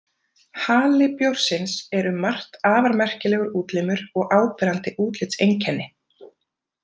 Hali bjórsins er um margt afar merkilegur útlimur og áberandi útlitseinkenni.